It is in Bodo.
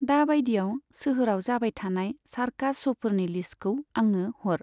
दा बायदियाव सोहोराव जाबाय थानाय सार्कास श'फोरनि लिस्तखौ आंनो हर।